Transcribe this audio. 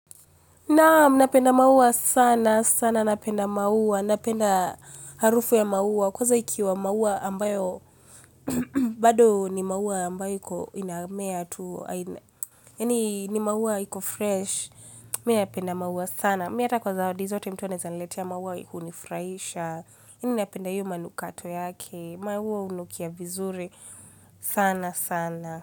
Naam, napenda maua sana, sana napenda maua, napenda harufu ya maua. Kwanza ikiwa maua ambayo, bado ni maua ambayo inamea tu, yani ni maua iko fresh. Minapenda maua sana, miata kwa zawadi zote mtu anaeza niletea maua hunifurahisha napenda hiyo manukato yake, maua hunukia vizuri, sana sana.